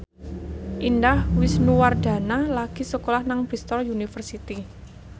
Indah Wisnuwardana lagi sekolah nang Bristol university